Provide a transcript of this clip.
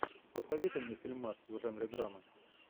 посоветуй мне фильмас в жанре драма